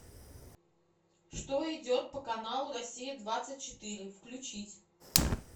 что идет по каналу россия двадцать четыре включить